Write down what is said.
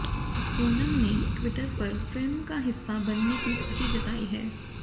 सोनम ने ट्विटर पर फिल्म का हिस्सा बनने की खुशी जताई है